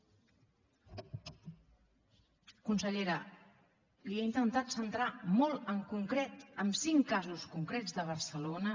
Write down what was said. consellera li he intentat centrar molt en concret els cinc casos concrets de barcelona